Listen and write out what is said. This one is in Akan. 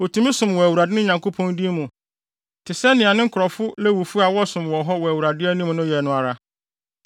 otumi som wɔ Awurade, ne Nyankopɔn, din mu te sɛnea ne nkurɔfo Lewifo a wɔsom wɔ hɔ wɔ Awurade anim no yɛ no ara.